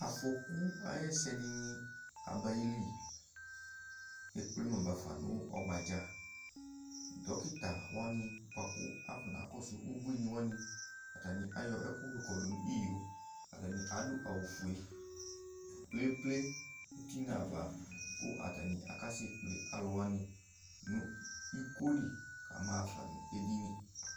emle ayʊ ɛsɛdɩnɩ abayili, ekple ma bafa nʊ ɔgbadza, dokitawanɩ bua kʊ afɔnakɔsʊ ubuiniwanɩ, atanɩ ayɔ ɛkʊ kɔdʊ nʊ iyo, atanɩ adʊ awu fue pleple uti nʊ ava, kʊ atanɩ akasɛ kple alʊwanɩ nʊ iko li kamaɣa fa nʊ edini